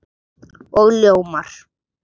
Og ljómar.